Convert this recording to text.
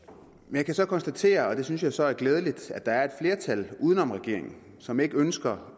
jeg kan så konstatere og det synes jeg så er glædeligt at der er et flertal uden om regeringen som ikke ønsker